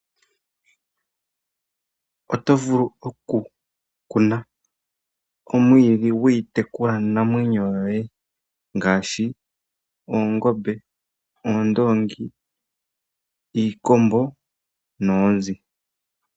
Otovulu okukuna omwiidhi gwiitekulwa namwenyo yoye ngaashi, oongombe, oondoongi, iikombo noonzi.